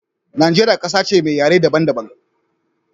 Nageria ƙasa ce me yare daban daban